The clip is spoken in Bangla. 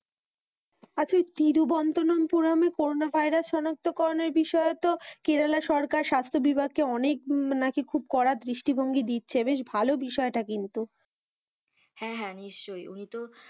আচ্ছা তিরুবনন্তপুরমে করোনা ভাইরাস সনাক্তকরণের বিষয়ে তো কেরালা সরকার স্বাস্থ্য বিভাগকে অনেক নাকি খুব কড়া দৃষ্টিভঙ্গি দিচ্ছে, বেশ ভালো বিষয়টা কিন্তু হ্যাঁ হ্যাঁ নিশ্চয়ই উনিতো,